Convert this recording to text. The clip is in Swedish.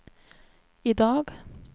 idag